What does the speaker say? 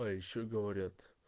а ещё говорят